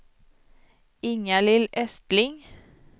Inga-Lill Östling